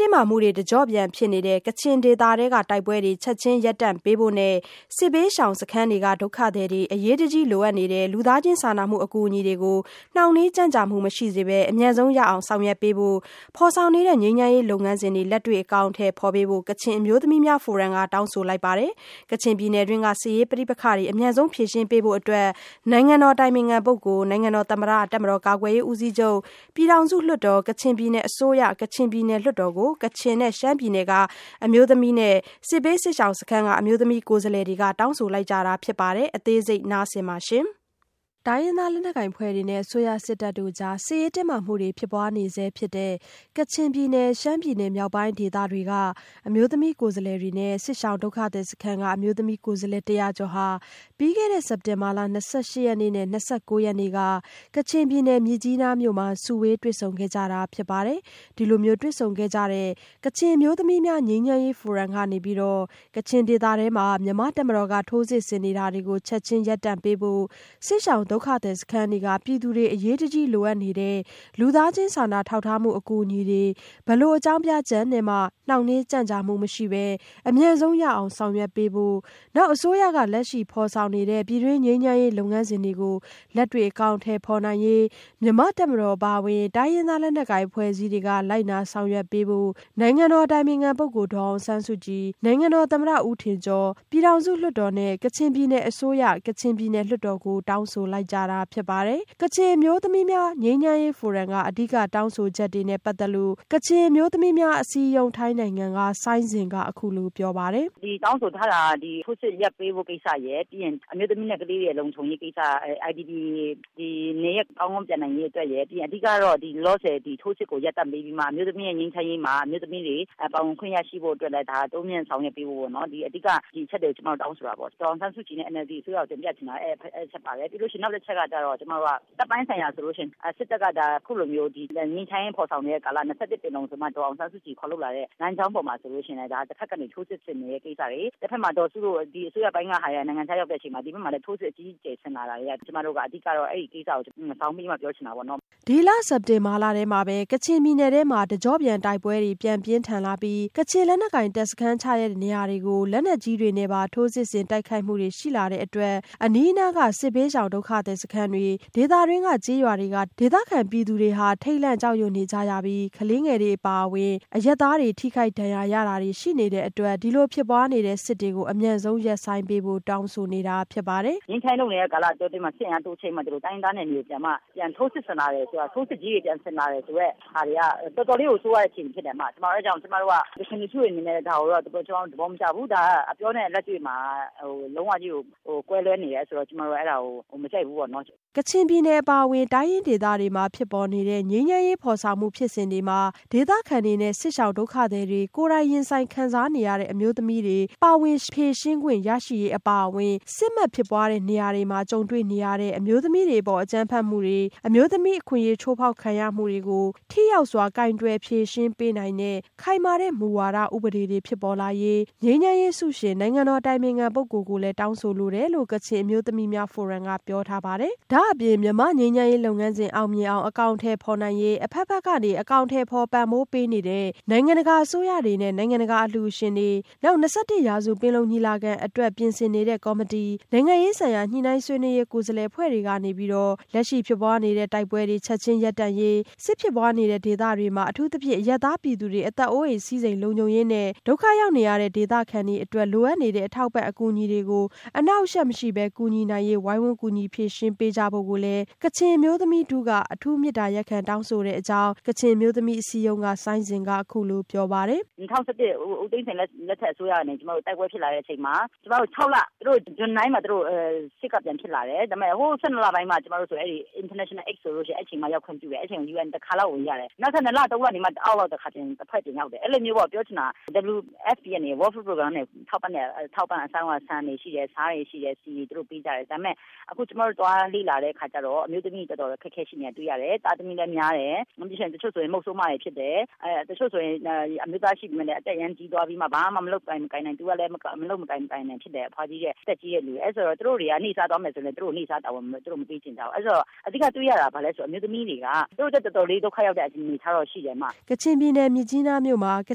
တင်းမာမှုတွေ တကျော့ပြန်ဖြစ်နေတဲ့ ကချင်ဒေသထဲက တိုက်ပွဲတွေ ချက်ခြင်းရပ်တန့်ပေးဖို့နဲ့ စစ်ဘေးရှောင်စခန်းတွေက ဒုက္ခသည်တွေ အရေးကြီးလိုအပ်နေတဲ့ လူသားချင်း စာနာမှုအကူအညီတွေကို နှောင့်နှေးကြန့်ကြာမှုမရှိစေပဲ အမြန်ဆုံးရအောင် ဆောင်ရွက်ပေးဖို့နဲ့ ဖော်ဆောင်နေတဲ့ ငြိမ်းချမ်းရေး လုပ်ငန်းစဉ်တွေ လက်တွေ့အကောင်အထည်ဖော်ပေးဖို့ ကချင်အမျိုးသမီးများဖိုရမ်က တောင်းဆိုလိုက်ပါတယ်။ ကချင်ပြည်နယ်တွင်းက စစ်ရေးပဋိပက္ခတွေကို အမြန်ဆုံးဖြေရှင်းပေးဖို့ နိုင်ငံတော်အတိုင်ပင်ခံပုဂ္ဂိုလ်၊ နိုင်ငံတော်သမ္မတ၊ တပ်မတော်ကာကွယ်ရေးဦးစီးချုပ်၊ ပြည်ထောင်စု လွှတ်တော်၊ ကချင်ပြည်နယ်အစိုးရ၊ ကချင်ပြည်နယ်လွှတ်တော်ကို ကချင်နဲ့ရှမ်းပြည်နယ်က အမျိုးသမီးခေါင်းဆောင်တွေ စစ်ဘေး စစ်ရှောင်စခန်းတွေက အမျိုးသမီးကိုယ်စားလှယ်တွေက တောင်းဆိုလိုက်ကြတာဖြစ်ပါတယ်။ အသေးစိတ် မဆုမွန်က စုစည်းတင်ပြထားပါတယ်။ တိုင်းရင်းသားလက်နက်ကိုင်အဖွဲ့တွေနဲ့ အစိုးရစစ်တပ်တို့ကြား စစ်ရေးတင်းမာမှုတွေ ဖြစ်ပွားနေဆဲဖြစ်တဲ့ ကချင်ပြည်နယ်၊ ရှမ်းပြည်နယ်မြောက်ပိုင်းဒေသတွေနဲ့ စစ်ရှောင်စခန်းတွေက အမျိုးသမီးကိုယ်စားလှယ် ၁၀၀ကျော်ဟာ ပြီးခဲ့တဲ့ စက်တင်ဘာလ ၂၈ရက်နေ့နဲ့ ၂၉ရက်နေ့က ကချင်ပြည်နယ်မြစ်ကြီးနားမြို့မှာ စုဝေးတွေ့ဆုံခဲ့ကြတာဖြစ်ပါတယ်။ ဒီလိုစုဝေးတွေ့ဆုံခဲ့ကြတဲ့ ကချင်အမျိုးသမီးများငြိမ်းချမ်းရေးဖိုရမ်ကနေ ကချင်ဒေသကို မြန်မာ့တပ်မတော်က ထိုးစစ်ဆင်နေတာကို ချက်ခြင်းရပ်တန့်ပေးဖို့၊ စစ်ရှောင်စခန်းတွေက ပြည်သူတွေ အရေးတကြီးလိုအပ်နေတဲ့ လူသားချင်း စာနာထောက်ထားမှု အကူအညီတွေ မည်သည့်အကြောင်းပြချက်နဲ့မှ နှောင့်နှေးကြန့်ကြာမှုမရှိပဲ အမြန်ဆုံးရအောင် ဆောင်ရွက်ပေးဖို့၊ လက်ရှိဖော်ဆောင်နေတဲ့ ပြည်တွင်းငြိမ်းချမ်းရေးလုပ်ငန်းစဉ်တွေ လက်တွေ့အကောင်အထည်ဖော်နိုင်ရေး မြန်မာ့တပ်မတော်အပါအဝင် တိုင်းရင်းသား လက်နက်ကိုင်အဖွဲ့အစည်းတွေက လိုက်နာဆောင်ရွက်ပေးဖို့ နိုင်ငံတော်အတိုင်ပင်ခံပုဂ္ဂိုလ်ဒေါ်အောင်ဆန်းစုကြည်၊ နိုင်ငံတော်သမ္မတ ဦးထင်ကျော်၊ ပြည်ထောင်စုလွှတ်တော်နဲ့ ကချင်ပြည်နယ်အစိုးရ၊ ကချင်ပြည်နယ်လွှတ်တော်ကို တောင်းဆိုလိုက်ကြတာဖြစ်ပါတယ်။ ကချင်အမျိုးသမီးများငြိမ်းချမ်းရေးဖိုရမ်က အဓိကတောင်းဆိုချက်တွေနဲ့ပတ်သက်လို့ ကချင်အမျိုးသမီးအစည်းအရုံး က ဆိုင်းဇင်က အခုလိုပြောပါတယ်။ “တောင်းဆိုထားတာက ထိုးစစ်ရပ်ပေးဖို့ ကိစ္စရယ် ပြီးရင်အမျိုးသမီးနဲ့ ကလေးတွေ လုံခြုံရေးကိစ္စရယ်၊ IDP တွေ နေရပ်ကောင်းကောင်းပြန်နိုင်ရေးကိစ္စရယ်၊ ပြီးရင်လောလောဆယ်တော့ ထိုးစစ်ကိုရပ်တန့်ပေးဖို့ ကိစ္စရယ်၊ နောက် အမျိုးသမီးနဲ့ ငြိမ်းချမ်းရေးမှာ အမျိုးသမီးတွေ ပါဝင်ခွင့်ရှိဖို့အတွက်လည်း တိုးမြင့်ဆောင်ရွက်ပေးဖို့ပေါ့နော် ၊ အဓိက ဒီအချက်တွေကို တောင်းဆိုတာပေါ့။ ဒေါ်အောင်ဆန်းစုကြည် နဲ့ NLD အစိုးရကိုတင်ပြချင်တာအဲဒီအချက်ပါတယ်။ ပြီးရင်နောက်တချက်ကတော့ ကျမတို့က တပ်ပိုင်းဆိုင်ရာဆိုရင် စစ်တပ်က ဒါအခုလိုမျိုး ငြိမ်းချမ်းရေးဖော်ဆောင်နေတဲ့ကာလမှာ ၂၁ ပင်လုံဆိုပြီးတော့ ဒေါ်အောင်ဆန်းစုကြည်ခေါ်လုပ်လာတဲ့လမ်းကြောင်းမှာဆိုရင်လည်း တဖက်ကနေ ထိုးစစ်ဆင်နေတဲ့ကိစ္စတွေ တဘက်မှာ ဒေါ်စုတို့ အစိုးရပိုင်းက နိုင်ငံခြားရောက်တဲ့အချိန်မှာ၊ တဘက်မှာလည်း ထိုးစစ်အကြီးအကျယ်ဆင်လာတာတွေက ကျမတို့ကအဓိက အဲဒီကိစ္စကို ဇောင်းပေးပြီးမှ ပြောချင်တာပေါ့နော်။” ဒီလစက်တင်ဘာလထဲမှာပဲ ကချင်ပြည်နယ်ထဲ တကျော့ပြန်တိုက်ပွဲတွေပြန်ပြင်းထန်လာပြီး ကချင်လက်နက်ကိုင်တပ်စခန်းချရာနေရာတွေကို လက်နက်ကြီးတွေနဲ့ပါ ထိုးစစ်ဆင်တိုက်ခိုက်မှုတွေရှိလာတဲ့အတွက် အနီးနားက စစ်ဘေးရှောင်ဒုက္ခသည်စခန်းတွေ၊ ဒေသတွင်းက ကျေးရွာတွေက ဒေသခံပြည်သူတွေမှာ ထိတ်လန့်ကြောက်ရွံ့နေကြရပြီး ကလေးငယ်တွေအပါအဝင် အရပ်သားတွေပါ ထိခိုက်ဒဏ်ရာရတာတွေရှိနေတဲ့အတွက် ဒီလိုဖြစ်ပွားနေတဲ့စစ်တွေကို အမြန်ဆုံးရပ်ဆိုင်းပေးဖို့တောင်းဆိုနေတာဖြစ်ပါတယ်။ “ငြိမ်းချမ်းရေးလုပ်နေတဲ့ကာလအတောအတွင်းမှာ စစ်အင်အားတိုးချဲ့ပြီးတော့ တိုင်းရင်းသားနယ်မြေတွေကိုပြန်ပြီးတော့မှ ထိုးစစ်ဆင်လာတယ်ဆိုတာက တော်တော်လေးကို ဆိုးဝါးတဲ့အခြေအနေဖြစ်တယ်။ အဲဒါကြောင့်ကျမတို့က ကချင်လူထုတွေအနေနဲ့ ကျမတို့ ဒါကိုတော့ သဘောမကျဘူး၊ ဒါအပြောနဲ့ လက်တွေ့လုံးဝကွဲလွဲနေတယ်ဆိုတာ ကျမတို့ အဲဒါကို မကြိုက်ဘူးပေါ့နော်။” ကချင်ပြည်နယ် အပါအဝင် တိုင်းရင်းဒေသတွေမှာဖြစ်ပေါ်နေတဲ့ငြိမ်းချမ်းရေး ဖော်ဆောင်မှုဖြစ်စဉ်တွေမှာ ဒေသခံတွေနဲ့ စစ်ရှောင်ဒုက္ခတွေကို ကိုယ်တိုင်ရင်ဆိုင်ခံစားနေရတဲ့ အမျိုးသမီးတွေ ပါဝင်ဖြေရှင်းနိုင်ခွင့်ရရှိရေးအပါအဝင်၊ စစ်မက်ဖြစ်ပွားနေတဲ့နေရာတွေမှာ ကြုံတွေ့နေရတဲ့ အမျိုးသမီးတွေအပေါ် အကြမ်းဖက်မှုတွေ အမျိုးသမီးအခွင့်အရေးချိုးဖောက်ခံနေရမှုတွေကို ထိရောက်စွာကိုင်တွယ်ဖြေရှင်းပေးနိုင်တဲ့ ခိုင်မာတဲ့မူဝါဒတွေ၊ ဥပဒေတွေ ဖြစ်ပေါ်လာရေးငြိမ်းချမ်းရေးဆုရှင် နိုင်ငံတော်အတိုင်ပင်ခံပုဂ္ဂိုလ်ကိုလည်း တောင်းဆိုလိုပါတယ်လို့ ကချင်အမျိုးသမီးများ ငြိမ်းချမ်းရေးဖိုရမ်က ပြောပါတယ်။ ဒါ့အပြင် မြန်မာ့ငြိမ်းချမ်းရေးလုပ်ငန်းစဉ်အောင်မြင်အောင် အကောင်အထည်ဖော်နိုင်ရေး အဘက်ဘက်က အကောင်အထည်ဖော်ပံ့ပိုးပေးနေတဲ့ နိုင်ငံတကာအစိုးရတွေနဲ့ နိုင်ငံတကာအလှူရှင်တွေ၊ ၂၁ရာပင်လုံညီလာခံအတွက်ပြင်ဆင်နေတဲ့ကော်မတီ၊ နိုင်ငံရေးဆိုင်ရာ ညှိနှိုင်းဆွေးနွေးရေးကိုယ်စားလှယ်အဖွဲ့တွေကနေ လက်ရှိဖြစ်ပွားနေတဲ့တိုက်ပွဲတွေ ရပ်တန့်ရေး၊ စစ်ဖြစ်ပွားနေတဲ့ဒေသတွေမှာ အထူးသဖြင့် အရပ်သား ပြည်သူတွေ အသက်အိုးအိမ်စည်းစိမ်လုံခြုံရေးနဲ့ ဒုက္ခရောက်နေရတဲ့ ဒေသခံတွေအတွက် လိုအပ်နေတဲ့ အထောက်အပံ့အကူအညီတွေကို အနှောင့်အယှက်မရှိပဲ ကူညီနိုင်ရေး ဝိုင်းဝန်းကူညီ ဖြေရှင်းပေးကြဖို့ကိုလည်း ကချင်အမျိုးသမီးထုက အထူးမေတ္တာရပ်ခံတောင်းဆိုတဲ့အကြောင်းလည်း ကချင်အမျိုးသမီးအစည်းအရုံးက ဆိုင်းဇင်က အခုလိုပြောပါတယ်။ “၂၀၁၁ ဦးသိန်းစိန်အစိုးရလက်ထက်ကနေ ကျမတို့ တိုက်ပွဲဖြစ်လာတဲ့အချိန်မှာ ကျမတို့ June 9 မှာ စစ်ကပြန်ဖြစ်လာတယ်။ ဒါပေမယ့် ၁၂ လပိုင်းမှ International Aid ကို အဲဒီအချိန်မှ ရောက်ခွင့်ပြုတယ်၊အဲဒါအချိန်မှ UN တခေါက်ဝင်ရတယ်။ နောက် ၂ လ ၃ လ နေမှ နောက်တဖွဲ့ပြန်ရောက်တယ်။ အဲဒီလိုမျိုး WFP ( World Food Program) ကနေထောက်ပံ့တာ အစတုန်းက ဆန်တွေရှိတယ် ၊ ဆားတွေရှိတယ်၊ ဆီတွေ သူတို့ပေးကြတယ်။ ဒါပေမယ့် အခုကျမတို့ သွားလေ့လာတဲ့အခါကျတော့ အမျိုးသမီးတွေ တော်တော်အခက်အခဲရှိနေတာတွေ့ရတယ်။ သားသမီးလည်းများတယ်၊ တချို့ဆိုရင် မုဆိုးမတွေဖြစ်တယ်၊ တချို့ဆိုရင် အသက်အရမ်းကြီးသွားပြီးမှ သူကလည်းမလုပ်မကိုင်နိုင် အမျိုးသားကလည်း မလုပ်နိုင်မကိုင်နိုင် ဖြစ်တယ်။ အဲဒါဆိုတော့ သူတို့ နေ့စားသွားမယ်ဆိုရင်လည်း သူတို့ကို နေ့စားတာဝန်မပေးချင်ကြဘူး။ အဲဒီတော့ အဓိကတွေ့ရတာဘာလဲဆိုတော့ အမျိုးသမီးတွေက သူတို့အတွက်တော်တော်လေး ဒုက္ခရောက်တဲ့အနေအထားတော့ရှိတယ်အမ။” ကချင်ပြည်နယ်မြစ်ကြီးနားမြို့မှာ က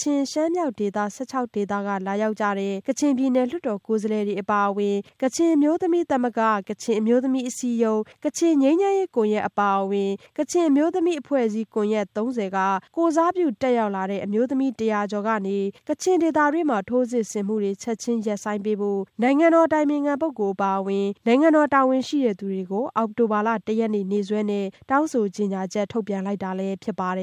ချင်၊ရှမ်းမြောက်ဒေသ ဒေသက လာရောက်တဲ့ ကချင်ပြည်နယ်လွှတ်တော်ကိုယ်စားလှယ်တွေအပါအဝင် ကချင်အမျိုးသမီးသမဂ္ဂ၊ ကချင်အမျိုးသမီးအစည်းအရုံး၊ ကချင်ငြိမ်းချမ်းရေးကွန်ရက် အပါအဝင် ကချင်အမျိုးသမီးအဖွဲ့အစည်းကွန်ရက် က ကိုယ်စားပြုတက်ရောက်လာတဲ့ အမျိုးသမီးတွေကနေ ကချင်ဒေသတွင်း ထိုးစစ်ဆင်မှုတွေ ချက်ခြင်းရပ်ဆိုင်းပေးဖို့ နိုင်ငံတော်အတိုင်ပင်ခံအပါအဝင် နိုင်ငံတော်တာဝန်ရှိသူတွေကို အောက်တိုဘာလ ၁ရက်နေ့ နေ့စွဲနဲ့ တောင်းဆိုကြေညာချက်ကို ထုတ်ပြန်လိုက်တာလည်းဖြစ်ပါတယ်